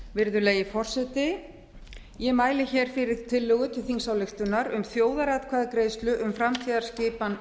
virðulegi forseti ég mæli fyrir tillögu til þingsályktunar um þjóðaratkvæðagreiðslu um framtíðarskipan